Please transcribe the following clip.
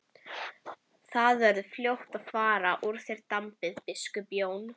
Þá verður fljótt að fara úr þér drambið, biskup Jón!